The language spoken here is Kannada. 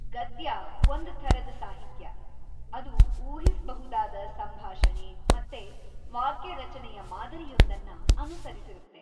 ಗದ್ಯ ಒಂದ್‌ ಥರದ ಸಾಹಿತ್ಯ, ಅದು ಊಹಿಸ್ಬಹುದಾದ ಸಂಭಾಷಣೆ ಮತ್ತೆ ವಾಕ್ಯರಚನೆಯ ಮಾದರಿಯೊಂದನ್ನ ಅನುಸರಿಸಿರತ್ತೆ.